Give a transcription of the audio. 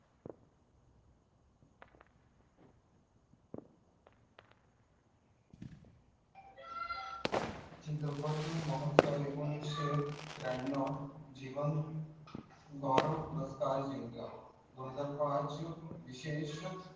चित्रपट महोत्सव एक्को निषे त्र्यानवं दोन हजार पाच विशेष